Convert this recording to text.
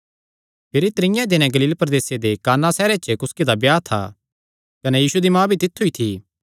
भिरी त्रीये दिनैं गलील प्रदेसे दे काना सैहरे च कुसकी दा ब्याह था कने यीशु दी माँ भी तित्थु ई थी